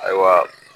Ayiwa